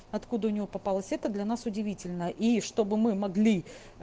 откуда у него попалась это для нас удивительно и чтобы мы могли